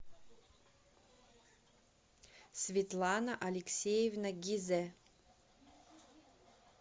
светлана алексеевна гизе